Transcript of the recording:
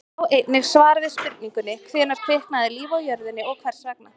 Sjá einnig svar við spurningunni: Hvenær kviknaði líf á jörðinni og hvers vegna?